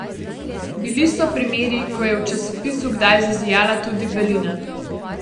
Bili so primeri, ko je v časopisu kdaj zazijala tudi belina.